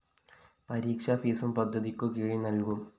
പരീക്ഷാ ഫീസും പദ്ധതിക്കു കീഴില്‍ നല്‍കും